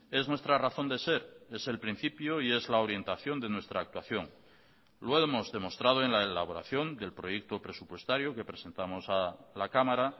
es nuestra razón de ser es el principio y es la orientación de nuestra actuación lo hemos demostrado en la elaboración del proyecto presupuestario que presentamos a la cámara